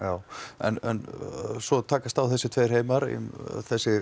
en svo takast á þessir tveir heimar þessir